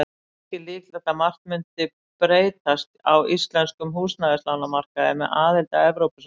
Ekki er líklegt að margt mundi breytast á íslenskum húsnæðislánamarkaði með aðild að Evrópusambandinu.